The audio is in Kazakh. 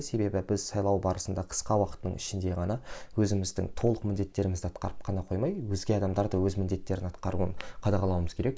себебі біз сайлау барысында қысқа уақыттың ішінде ғана өзіміздің толық міндеттерімізді атқарып қана қоймай өзге адамдарды өз міндеттерін атқаруын қадағалауымыз керек